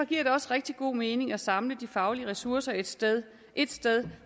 giver det også rigtig god mening at samle de faglige ressourcer et sted et sted